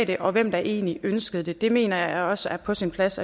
det og hvem der egentlig ønskede det det mener jeg også er på sin plads